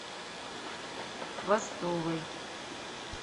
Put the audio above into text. хвостовой